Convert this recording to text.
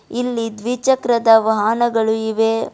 ಇಲ್ಲಿ ದ್ವಿ ಚಕ್ರದ ವಾಹನಗಳು ಇವೆ.